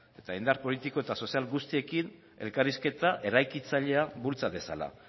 eta indar politiko eta sozial guztiekin elkarrizketa eraikitzailea bultza dezala